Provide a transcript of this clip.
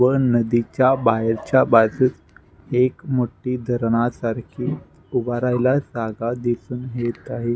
व नदीच्या बाहेरच्या बाजूस एक मोठी धरणासारखी उभा राहायला जागा दिसून येत आहे.